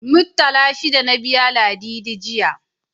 Muttala shida na biya Ladidi, jiya.